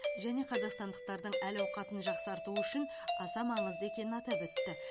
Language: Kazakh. және қазақстандықтардың әл ауқатын жақсартуы үшін аса маңызды екенін атап өтті